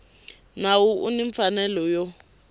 nawu u ni mfanelo yo